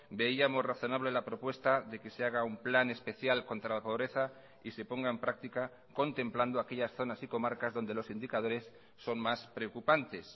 veíamos razonable la propuesta de que se haga un plan especial contra la pobreza y se ponga en práctica contemplando aquellas zonas y comarcas donde los indicadores son más preocupantes